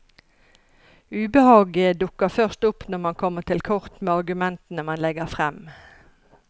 Ubehaget dukker først opp når man kommer til kort med argumentene man legger frem.